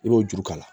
I b'o juru k'a la